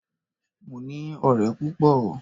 Mo ní ọ̀rẹ́ púpọ̀.